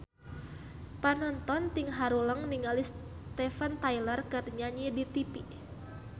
Panonton ting haruleng ningali Steven Tyler keur nyanyi di tipi